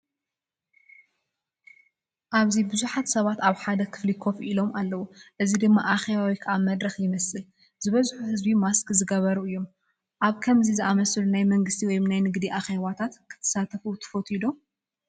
ኣብዚ ብዙሓት ሰባት ኣብ ሓደ ክፍሊ ኮፍ ኢሎም ኣለዉ፣ እዚ ድማ ኣኼባ ወይ መድረኽ ይመስል። ዝበዝሑ ህዝቢ ማስክ ዝገበሩ እዮም። ኣብ ከምዚ ዝኣመሰለ ናይ መንግስቲ ወይ ናይ ንግዲ ኣኼባታት ክትሳተፍ ትፈቱ ዶ?